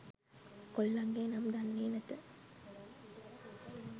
කොල්ලන්ගෙ නම් දන්නේ නැත